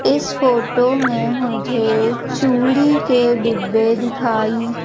इस फोटो में मुझे चूड़ी के डिब्बे दिखाई--